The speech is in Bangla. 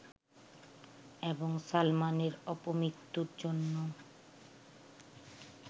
এবং সালমানের অপমৃত্যুর জন্য